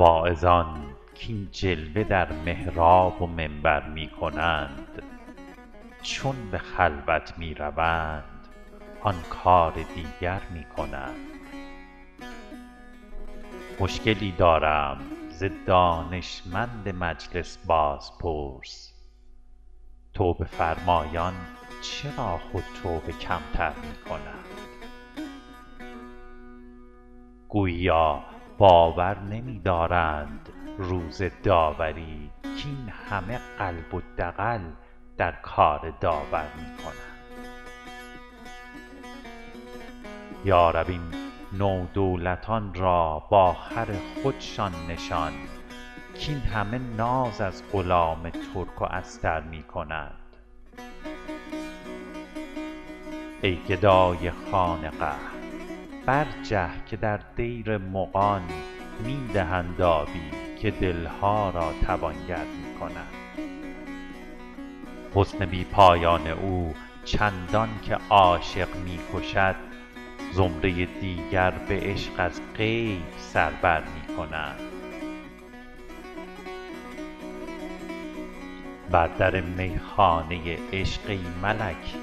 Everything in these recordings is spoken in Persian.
واعظان کاین جلوه در محراب و منبر می کنند چون به خلوت می روند آن کار دیگر می کنند مشکلی دارم ز دانشمند مجلس بازپرس توبه فرمایان چرا خود توبه کم تر می کنند گوییا باور نمی دارند روز داوری کاین همه قلب و دغل در کار داور می کنند یا رب این نودولتان را با خر خودشان نشان کاین همه ناز از غلام ترک و استر می کنند ای گدای خانقه برجه که در دیر مغان می دهند آبی و دل ها را توانگر می کنند حسن بی پایان او چندان که عاشق می کشد زمره دیگر به عشق از غیب سر بر می کنند بر در می خانه عشق ای ملک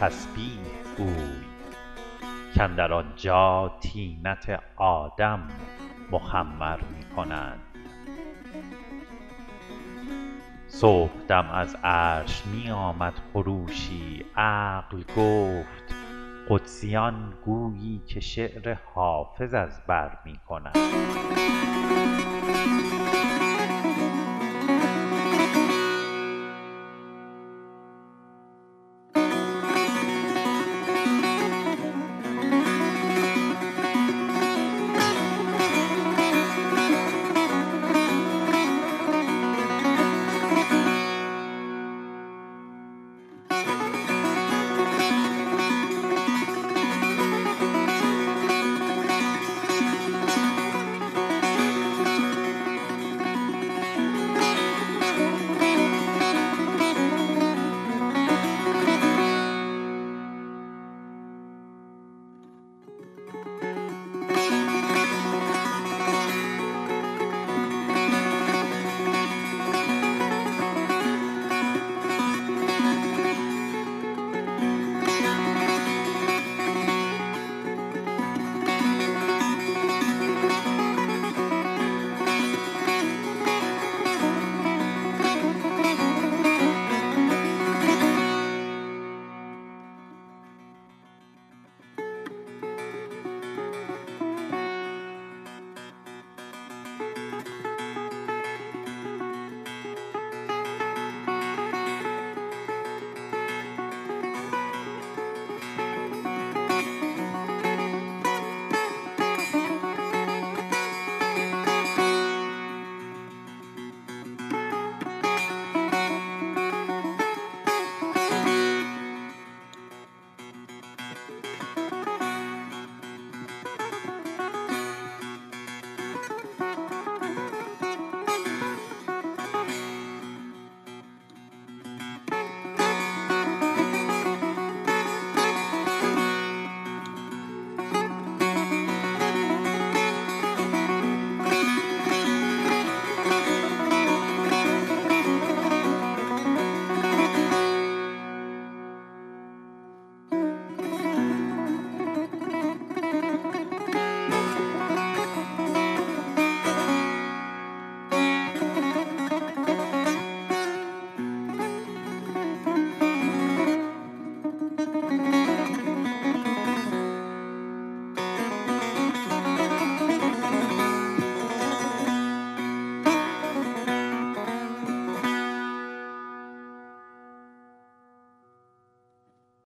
تسبیح گوی کاندر آنجا طینت آدم مخمر می کنند صبح دم از عرش می آمد خروشی عقل گفت قدسیان گویی که شعر حافظ از بر می کنند